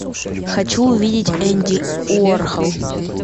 хочу увидеть энди уорхол